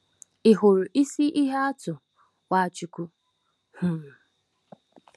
Ịhụrụ isi ihe atụ Nwachukwu? um